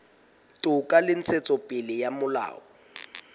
toka le ntshetsopele ya molao